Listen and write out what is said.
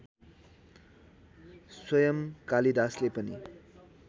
स्वयं कालिदासले पनि